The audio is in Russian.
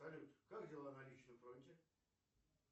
салют как дела на личном фронте